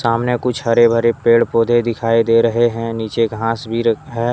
सामने कुछ हरे भरे पेड़ पौधे दिखाई दे रहे है नीचे घास भी है।